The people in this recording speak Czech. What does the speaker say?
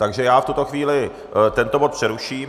Takže já v tuto chvíli tento bod přeruším.